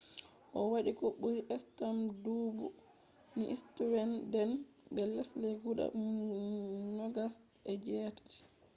o wadi ko buri stamp dubu ni sweden be lesde guda nogas e je tati